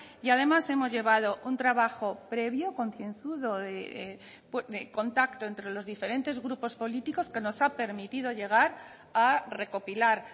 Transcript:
y además hemos llevado un trabajo previo concienzudo de contacto entre los diferentes grupos políticos que nos ha permitido llegar a recopilar